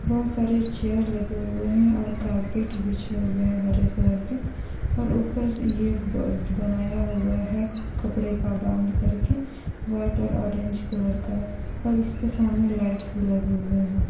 बोहोत सारे चेयर लगे हुए है और कार्पेट बिछे हुए है हरे कलर के और ऊपर ये ब बनाया हुआ है कपड़े का बांध करके व्हाइट और ऑरेंज कलर का और इसके सामने लाइटस् भी लगे हुए है।